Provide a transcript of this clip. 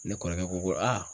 Ne kɔrɔkɛ ko ko